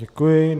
Děkuji.